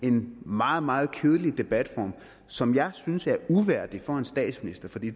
en meget meget kedelig debatform som jeg synes er uværdig for en statsminister for det